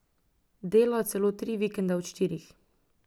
Delajo celo tri vikende od štirih.